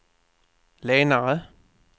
lenare